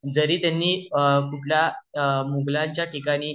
जरी त्यंनी कुठल्या मुगालाच्या ठिकाणी